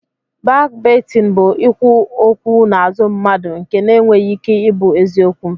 Bakbaitịn bụ ikwu okwu n'azụ mmadụ nke na-enweghị ike ị bụ eziokwu